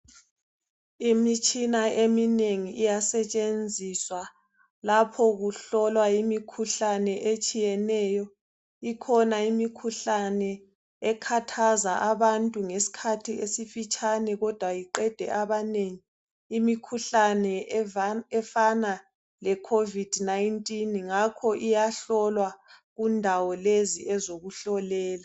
Imitshina eminengi iyasetshenziswa lapho okuhlolwa khona imikhuhlane etshiyeneyo ikhona imikhuhlane ekhathaza abantu ngesikhathi esifitshane kodwa iqede abanengi ngakho iyahlolwa endaweni lezi zokuhlolelwa